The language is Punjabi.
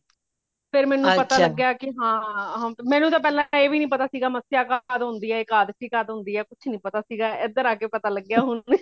ਫੇਰ ਮੈਨੂੰ ਪਤਾ ਹਾਂ ਮੈਨੂੰ ਤਾ ਪਹਿਲਾਂ ਇਹ ਵੀ ਨਹੀਂ ਪਤਾ ਸੀਗਾ ਕੀ ਮਸਿਆ ਕਦ ਹੋਂਦੀ ਹੈ ਏਕਾਦਸ਼ੀ ਕਦ ਹੋਂਦੀ ਹੈ ਕੁਛ ਨਹੀਂ ਪਤਾ ਸੀਗਾ ਏਧਰ ਆ ਕੇ ਪਤਾ ਲੱਗਿਆ ਹੁਣ